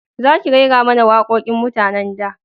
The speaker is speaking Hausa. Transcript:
Za ki rera mana waƙoƙin mutanen da